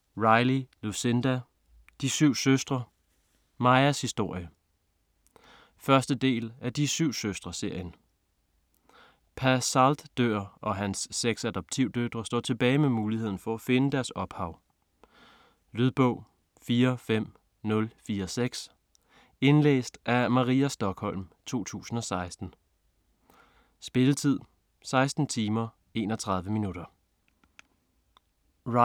Riley, Lucinda: De syv søstre: Maias historie 1. del af De syv søstre-serien. Pa Salt dør og hans seks adoptivdøtre står tilbage med muligheden for at finde deres ophav. Lydbog 45046 Indlæst af Maria Stokholm, 2016. Spilletid: 16 timer, 31 minutter.